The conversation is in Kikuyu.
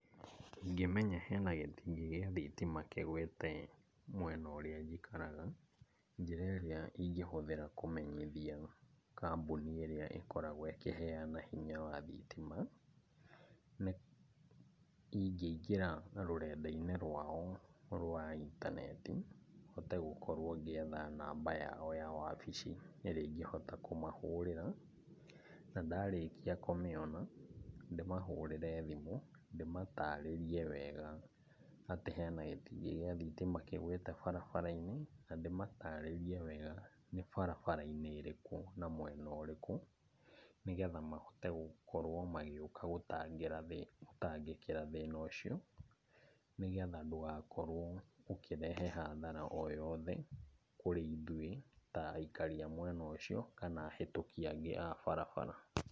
Ingĩmenya he na gĩtingĩ gĩa thitima kĩgũĩte mwena ũrĩa njikaraga. Njĩra ĩrĩa ingĩhũthĩra kũmenyithia kambũnĩ ĩrĩa ĩkoragwo ĩkĩheana hinya wa thitima. Nĩ ingĩingĩra rũrenda-inĩ rwao rwa intaneti, hote gũkorwo ngĩetha namba yao wa wabici ĩrĩa ingĩhota kũmahũrĩra. Na ndarĩkia kũmĩona, ndĩmahũrĩre thimũ ndĩmatarĩrie wega, atĩ he na gĩtingĩ gĩa thitima kĩgwĩte barabara-inĩ, na ndĩmatarĩrie wega nĩ barabara-inĩ ĩrĩkũ na mwena ũrĩkũ, nĩgetha mahote gũkorwo magĩũka gũtangĩra thĩ, gũtangĩkĩra thĩna ũcio. Nĩgetha ndũgakorwo ũkĩrehe hathara o yothe, kũrĩ ithuĩ ta aikari a mwena ũcio, kana ahĩtũki angĩ a barabara.